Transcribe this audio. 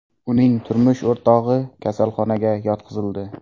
Uning turmush o‘rtog‘i kasalxonaga yotqizildi.